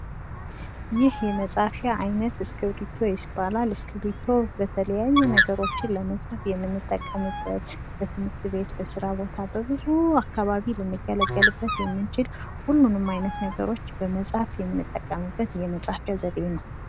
ይህ የመጻፊያ አይነት እስኪርብቶ ይባላል፡፡ እስኪርብቶ የተለያዩ ነገሮችን ለመጻፍ የምንጠቀምበት በትምህርት ቤት ፣ በስራ ቦታ ፣ በብዙ አካባቢ ልንገለገልበት የምንችል ሁሉንም አይነት ነገሮች ለመጻፍ የምጠቀምበት የመጻፊያ አይነት ነው፡፡